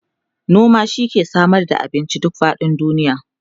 noma shi ke Samar da abinci duk faɗin duniya